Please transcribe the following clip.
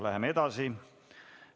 Läheme edasi.